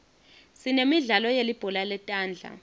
sinemidlalo yelibhola letandla